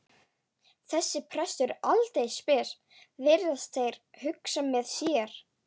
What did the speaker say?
Þessi prestur er aldeilis spes, virðast þeir hugsa með sér.